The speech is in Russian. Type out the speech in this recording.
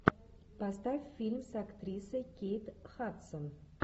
поставь фильм с актрисой кейт хадсон